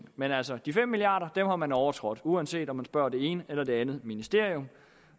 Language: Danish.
men altså de fem milliard kroner har man overtrådt uanset om man spørger det ene eller det andet ministerium